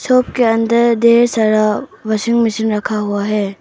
Shop के अंदर ढ़ेर सारा वाशिंग मशीन रखा हुआ है।